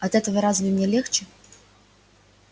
от этого разве мне легче